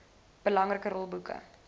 belangrike rol boeke